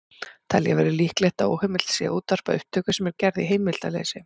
Telja verður líklegt að óheimilt sé að útvarpa upptöku sem er gerð í heimildarleysi.